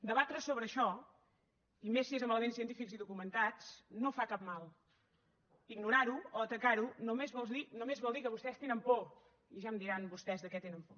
debatre sobre això i més si és amb elements científics i documentats no fa cap mal ignorar ho o atacar ho només vol dir que vostès tenen por i ja em diran vostès de què tenen por